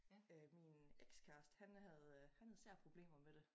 Øh min ekskæreste han havde øh han havde især problemer med det